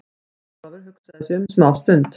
Jón Ólafur hugsaði sig um smá stund.